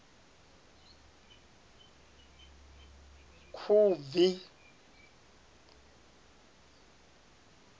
khubvi